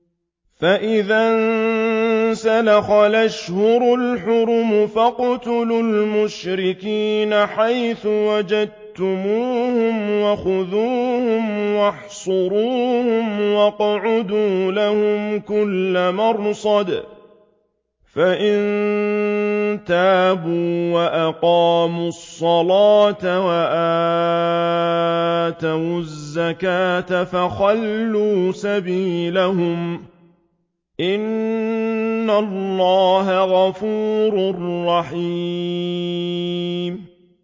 فَإِذَا انسَلَخَ الْأَشْهُرُ الْحُرُمُ فَاقْتُلُوا الْمُشْرِكِينَ حَيْثُ وَجَدتُّمُوهُمْ وَخُذُوهُمْ وَاحْصُرُوهُمْ وَاقْعُدُوا لَهُمْ كُلَّ مَرْصَدٍ ۚ فَإِن تَابُوا وَأَقَامُوا الصَّلَاةَ وَآتَوُا الزَّكَاةَ فَخَلُّوا سَبِيلَهُمْ ۚ إِنَّ اللَّهَ غَفُورٌ رَّحِيمٌ